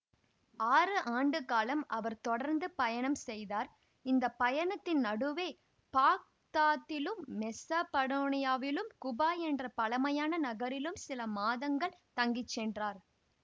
ஆறு ஆண்டுகாலம் அவர் தொடர்ந்து பயணம் செய்தார் இந்த பயணத்தின் நடுவே பாக்தாத்திலும் மெசபடோனியாவிலும் குபா என்ற பழமையான நகரிலும் சில மாதங்கள் தங்கி சென்றார்